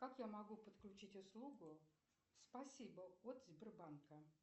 как я могу подключить услугу спасибо от сбербанка